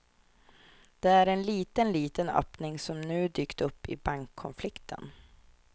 Det är en liten, liten öppning som nu dykt upp i bankkonflikten.